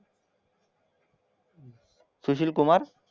Sushil Kumar